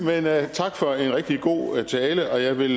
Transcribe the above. tak for en rigtig god tale og jeg vil